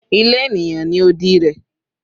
Ile eniyan ni odi rẹ